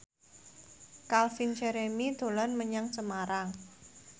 Calvin Jeremy dolan menyang Semarang